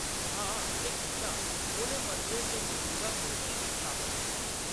हां उʼनें कीता, उʼनें मंदरै च मजूदा मूर्ति बी स्थापत कीती।